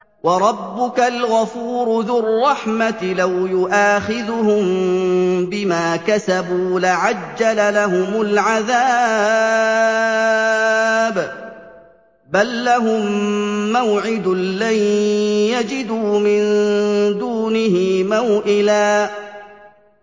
وَرَبُّكَ الْغَفُورُ ذُو الرَّحْمَةِ ۖ لَوْ يُؤَاخِذُهُم بِمَا كَسَبُوا لَعَجَّلَ لَهُمُ الْعَذَابَ ۚ بَل لَّهُم مَّوْعِدٌ لَّن يَجِدُوا مِن دُونِهِ مَوْئِلًا